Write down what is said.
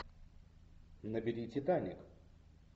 набери титаник